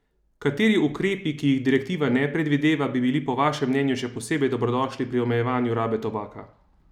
Kateri ukrepi, ki jih direktiva ne predvideva, bi bili po vašem mnenju še posebej dobrodošli pri omejevanju rabe tobaka?